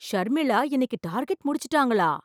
ஷர்மிளா இன்னைக்கு டார்கெட் முடிச்சிட்டாங்களா!